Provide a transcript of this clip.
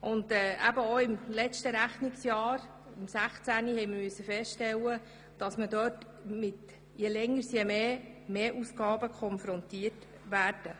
Auch im Jahr 2016 mussten wir feststellen, dass wir in diesen Bereichen mit stetig wachsenden Ausgaben konfrontiert werden.